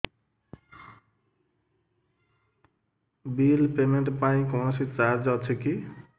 bill payment ପାଇଁ କୌଣସି charge ଅଛି କି